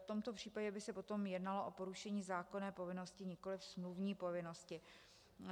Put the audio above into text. V tomto případě by se potom jednalo o porušení zákonné povinnosti, nikoli smluvní povinnosti.